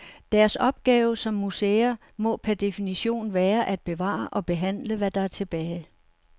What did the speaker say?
Deres opgave som museer må per definition være at bevare og behandle, hvad der er tilbage.